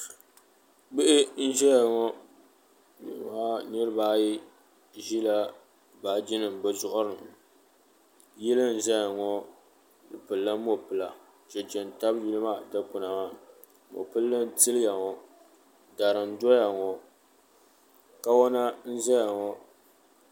Bihi n zaya ŋɔ ka niriba ayi ʒila baaji nima bɛ zuɣuri ni yili n zaya ŋɔ di pilila mopila cheche n tabi Yili maa dikpina maa mopili n yiliya ŋɔ dari n doya ŋɔ kawana n zaya ŋɔ.